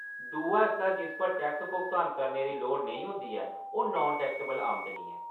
दूआ हिस्सा जिस उप्पर टैक्स भुगतान करने दी लोड़ नेईं होंदी ऐ ओह्‌‌ नान टैक्सेबल आमदनी ऐ।